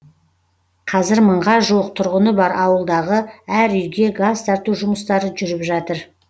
қазір мыңға жуық тұрғыны бар ауылдағы әр үйге газ тарту жұмыстары жүріп жатыр